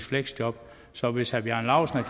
fleksjob så hvis herre bjarne laustsen